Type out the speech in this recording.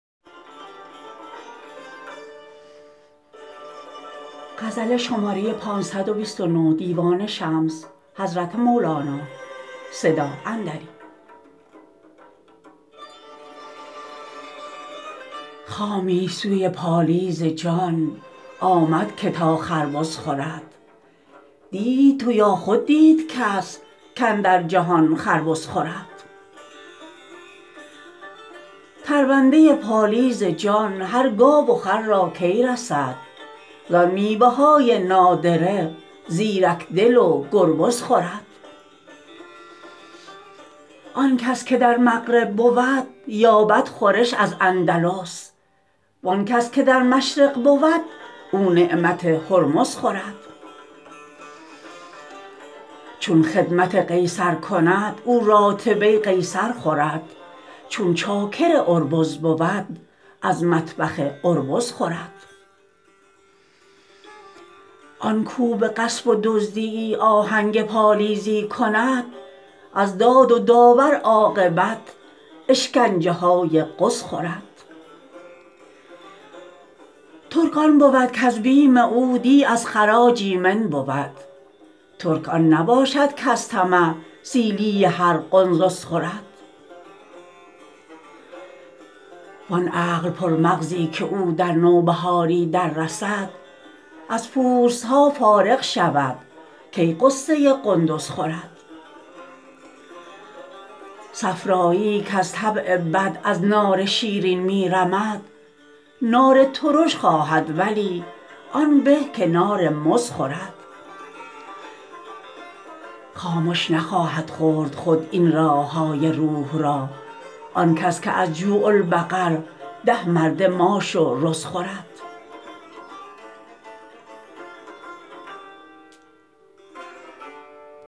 خامی سوی پالیز جان آمد که تا خربز خورد دیدی تو یا خود دید کس کاندر جهان خر بز خورد ترونده پالیز جان هر گاو و خر را کی رسد زان میوه های نادره زیرک دل و گربز خورد آن کس که در مغرب بود یابد خورش از اندلس وان کس که در مشرق بود او نعمت هرمز خورد چون خدمت قیصر کند او راتبه قیصر خورد چون چاکر اربز بود از مطبخ اربز خورد آن کاو به غصب و دزدی یی آهنگ پالیزی کند از داد و داور عاقبت اشکنجه های غز خورد ترک آن بود کز بیم او دیه از خراج ایمن بود ترک آن نباشد کز طمع سیلی هر قنسز خورد وان عقل پرمغزی که او در نوبهاری دررسد از پوست ها فارغ شود کی غصه قندز خورد صفرا یی یی کز طبع بد از نار شیرین می رمد نار ترش خواهد ولی آن به که نار مز خورد خامش نخواهد خورد خود این راح های روح را آن کس که از جوع البقر ده مرده ماش و رز خورد